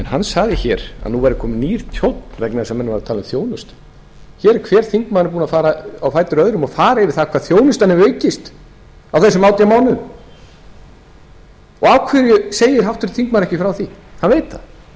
hann sagði hér að nú væri kominn nýr tónn vegna þess að menn eru að tala um þjónustu hver þingmaðurinn á fætur öðrum er búinn að fara yfir hvað þjónustan hefur aukist á þessum átján mánuðum af hverju segir háttvirtur þingmaður ekki frá því hann veit